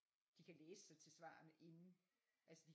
De kan læse sig til svarene inden altså de